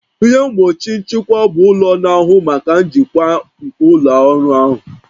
Ihe mgbochi nchịkwa bụ ụlọ na-ahụ maka njikwa nke ụlọ ọrụ ahụ